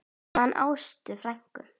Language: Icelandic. Ég man Ástu frænku.